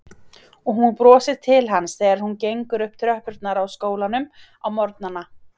Og hún brosir til hans þegar hún gengur upp tröppurnar á skólanum á morgnana.